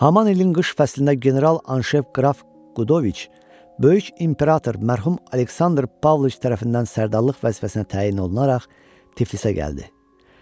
Haman ilin qış fəslində general Anşev qraf Qudoviç böyük imperator mərhum Aleksandr Pavloviç tərəfindən sərdallıq vəzifəsinə təyin olunaraq Tiflisə gəldi.